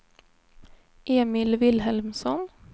Emil Vilhelmsson